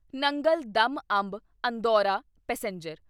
Nangal dam Amb Andaura passenger